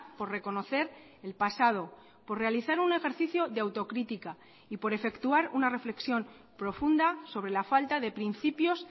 por reconocer el pasado por realizar un ejercicio de autocrítica y por efectuar una reflexión profunda sobre la falta de principios